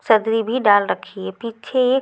सदरी भी डाल रखी है पीछे एक--